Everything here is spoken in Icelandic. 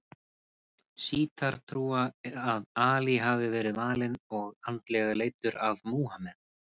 Sjítar trúa að Ali hafi verið valinn og andlega leiddur af Múhameð.